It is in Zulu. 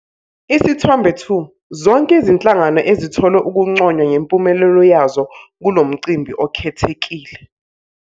Isithombe 2- Zonke izinhlangano ezithole ukunconywa ngempumelelo yazo kulo mcimbi okhethekile.